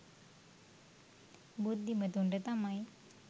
බුද්ධිමතුන්ට තමයි.